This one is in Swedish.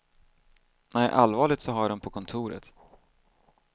Nej, allvarligt så har jag dem på kontoret.